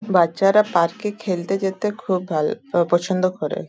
বাচ্চারা পার্কে খেলতে যেতে খুব ভাল প পছন্দ করে।